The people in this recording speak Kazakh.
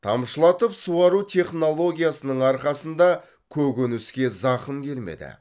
тамшылатып суару технологиясының арқасында көкөніске зақым келмеді